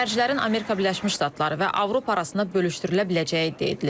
Xərclərin Amerika Birləşmiş Ştatları və Avropa arasında bölüşdürülə biləcəyi iddia edilir.